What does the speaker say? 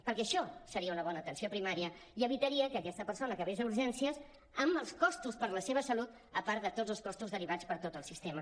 perquè això seria una bona atenció primària i evitaria que aquesta persona acabés a urgències amb els costos per a la seva salut a part de tots els costos derivats per tot el sistema